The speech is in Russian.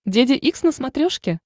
деде икс на смотрешке